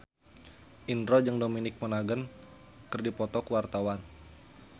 Indro jeung Dominic Monaghan keur dipoto ku wartawan